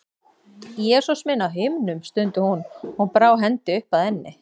Jesús minn á himnum, stundi hún og brá hendi upp að enni.